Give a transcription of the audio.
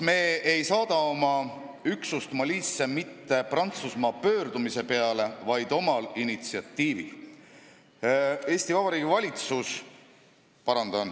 Me ei saada oma üksust Malisse mitte Prantsusmaa pöördumise peale, vaid omal initsiatiivil.